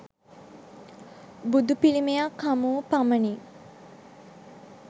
බුදු පිළිමයක් හමුවූ පමණින්